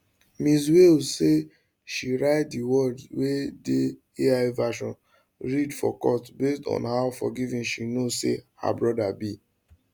ms wales say she write di words wey di ai version read for court based on how forgiving she know say her brother be